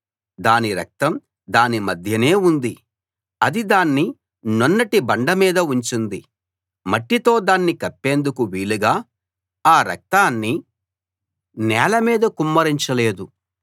దాని రక్తం దాని మధ్యనే ఉంది అది దాన్ని నున్నటి బండ మీద ఉంచింది మట్టితో దాన్ని కప్పేందుకు వీలుగా ఆ రక్తాన్ని నేల మీద కుమ్మరించ లేదు